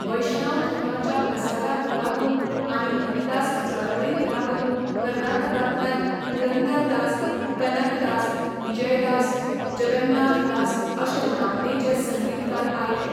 वैष्णव धर्माच्या प्रसाराक लागून आनी हरिदास चळवळीक लागून कर्नाटकांतल्यान पुरंदरदास, कनकदास, विजयदास, जगन्नाथादास अशे नामनेचे संगीतकार आयले.